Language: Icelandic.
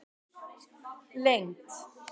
lengd